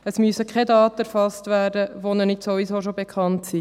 Es müssen keine Daten erfasst werden, welche nicht sowieso bereits bekannt sind.